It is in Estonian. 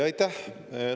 Aitäh!